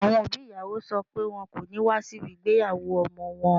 Àwọn òbí ìyàwó sọ pé wọn kò ní wá síbi ìgbéyàwó ọmọ wọn